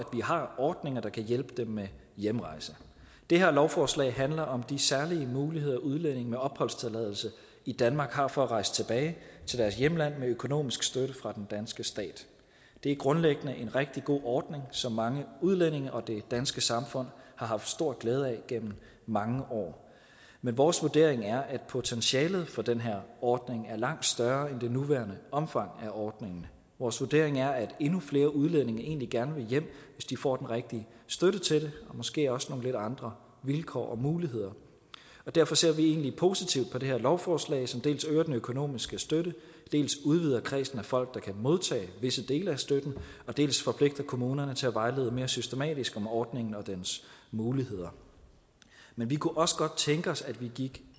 har ordninger der kan hjælpe dem med hjemrejse det her lovforslag handler om de særlige muligheder udlændinge med opholdstilladelse i danmark har for at rejse tilbage til deres hjemland med økonomisk støtte fra den danske stat det er grundlæggende en rigtig god ordning som mange udlændinge og det danske samfund har haft stor glæde af gennem mange år men vores vurdering er at potentialet for den her ordning er langt større end det nuværende omfang af ordningen vores vurdering er at endnu flere udlændinge egentlig gerne vil hjem hvis de får den rigtige støtte til det og måske også nogle lidt andre vilkår og muligheder og derfor ser vi egentlig positivt på det her lovforslag som dels øger den økonomiske støtte dels udvider kredsen af folk der kan modtage visse dele af støtten dels forpligter kommunerne til at vejlede mere systematisk om ordningen og dens muligheder men vi kunne også godt tænke os at vi gik